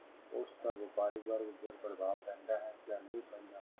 ਉਸਦਾ ਵਪਾਰੀ ਵਰਗ ਉੱਪਰ ਪ੍ਰਭਾਵ ਪੈਂਦਾ ਹੈ ਜਾਂ ਨਹੀਂ ਪੈਂਦਾ